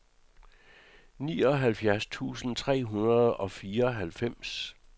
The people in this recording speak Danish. nioghalvfjerds tusind tre hundrede og fireoghalvfems